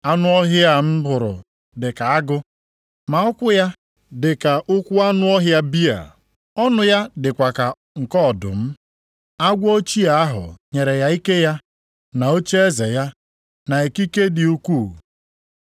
Anụ ọhịa a m hụrụ dị ka agụ, ma ụkwụ ya dịka ụkwụ anụ ọhịa bịa. Ọnụ ya dịkwa ka nke ọdụm. Agwọ ochie ahụ nyere ya ike ya, na ocheeze ya na ikike dị ukwuu.